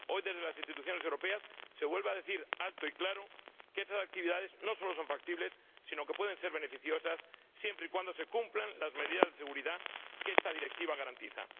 Hoy, desde las instituciones europeas, se vuelve a decir alto y claro que esas actividades no solo son factibles, sino que pueden ser beneficiosas siempre y cuando se cumplan las medidas de seguridad que esta directiva garantiza.